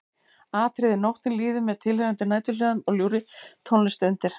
Atriði Nóttin líður með tilheyrandi næturhljóðum og ljúfri tónlist undir.